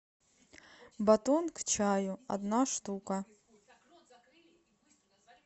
батон к чаю одна штука